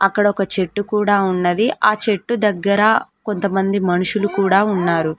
అక్కడ ఒక చెట్టు కూడా ఉన్నది ఆ చెట్టు దగ్గర కొంతమంది మనుషులు కూడా ఉన్నారు.